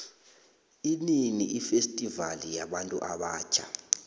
inini ifestivali yabuntu abatjha